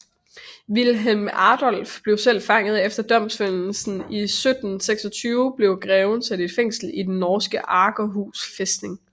Wilhelm Adolf selv blev fanget og efter domfældelse i 1726 blev greven sat i fængsel i den norske Akershus fæstning